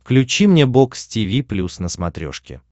включи мне бокс тиви плюс на смотрешке